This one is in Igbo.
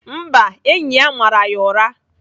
Mba, enyi ya mara ya ụra.